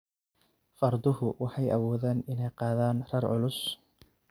Farduhu waxay awoodaan inay qaadaan rar culus.